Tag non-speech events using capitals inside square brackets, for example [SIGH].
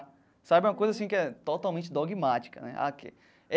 Sabe uma coisa assim que é totalmente dogmática né. [UNINTELLIGIBLE]